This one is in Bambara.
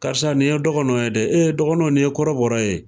Karisa nin ye dɔgɔnɔ ye dɛ, dɔgɔnɔ nin ye kɔrɔbɔrɔ ye,